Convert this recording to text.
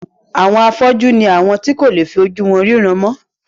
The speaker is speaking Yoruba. Àwọn afọ́jú ni àwọn tí kò lè fi ojú wọn ríran mọ́.